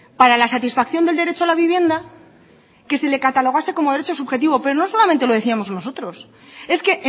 para la satisfacción del derecho a la vivienda que se le catalogase como derecho subjetivo pero no solamente lo decíamos nosotros es que